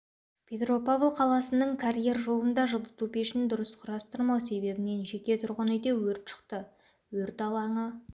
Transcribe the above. петропав қаласының карьер жолында жылыту пешін дұрыс құрастырмау себебінен жеке тұрғын үйде өрт шықты өрт алаңы